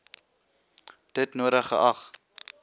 dit nodig geag